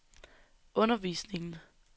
undervisningen